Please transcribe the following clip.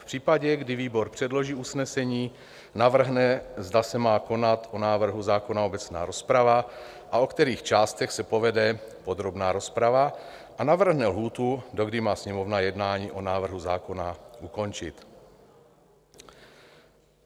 V případě, kdy výbor předloží usnesení, navrhne, zda se má konat o návrhu zákona obecná rozprava a o kterých částech se povede podrobná rozprava, a navrhne lhůtu, dokdy má Sněmovna jednání o návrhu zákona ukončit.